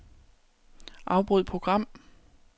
Afbryd program.